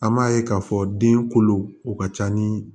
An m'a ye k'a fɔ den kolo o ka ca ni